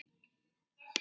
Hvernig leið því?